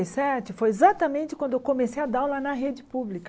Sete, foi exatamente quando eu comecei a dar aula na rede pública.